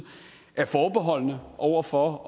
er forbeholdne over for